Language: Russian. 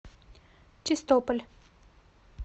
чистополь